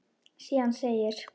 Síðan segir: